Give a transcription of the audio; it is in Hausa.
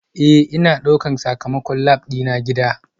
Ee, Ina ɗaukar sakamakon lab dina gida